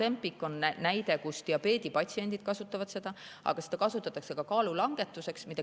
Ozempic on hea näide: seda kasutavad diabeedipatsiendid, aga seda kasutatakse ka kaalu langetuseks.